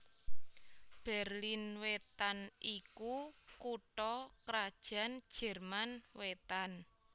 Berlin Wétan iku kutha krajan Jerman Wétan